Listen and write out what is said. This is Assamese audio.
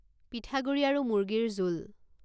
পিঠাগুড়ি আৰু মুৰ্গীৰ জোল